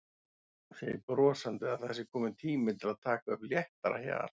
Segir brosandi að það sé kominn tími til að taka upp léttara hjal.